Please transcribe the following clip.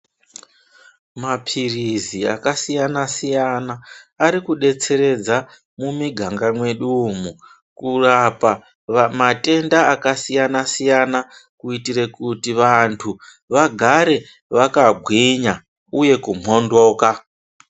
Mapirizi akasiyana siyana arikubetseredza mumwiganga medu umu kurapa matenda akasiyana siyana kuitire kuti vantu vagare vakangwinya uye ku mhondoka.